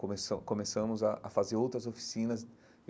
Começam começamos a a fazer outras oficinas.